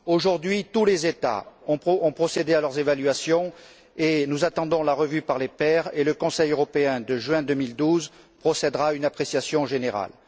Aujourd'hui, tous les États ont procédé à leurs évaluations, nous attendons la revue par les pairs et le Conseil européen de juin 2012 procèdera à une appréciation générale.